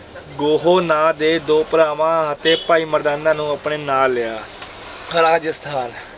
ਗੋਹੋ ਨਾਂ ਦੇ ਦੋ ਭਰਾਵਾਂ ਅਤੇ ਭਾਈ ਮਰਦਾਨਾ ਨੂੰ ਆਪਣੇ ਨਾਲ ਲਿਆ ਰਾਜਸਥਾਨ,